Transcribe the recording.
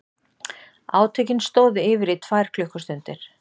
Átökin stóðu yfir í tvær klukkustundir